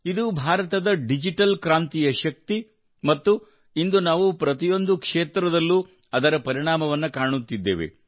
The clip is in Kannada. ಇದು ಭಾರತದ ಡಿಜಿಟಲ್ ಕ್ರಾಂತಿಯ ಶಕ್ತಿ ಮತ್ತು ಇಂದು ನಾವು ಪ್ರತಿಯೊಂದು ಕ್ಷೇತ್ರದಲ್ಲೂ ಅದರ ಪರಿಣಾಮವನ್ನು ಕಾಣುತ್ತಿದ್ದೇವೆ